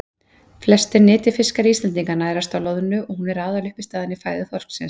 Flestir nytjafiskar Íslendinga nærast á loðnu og hún er aðaluppistaðan í fæðu þorsksins.